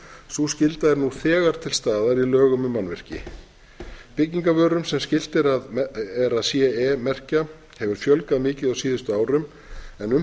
sú skylda er nú þegar til staðar í lögum um mannvirki byggingarvörum sem skylt er að ce merkja hefur fjölgað mikið á síðustu árum en um það